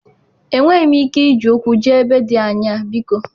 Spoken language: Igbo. Enweghị m ike iji ụkwụ jee ebe dị anya biko.